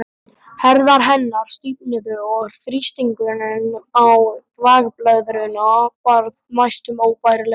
Herðar hennar stífnuðu og þrýstingurinn á þvagblöðruna varð næstum óbærilegur.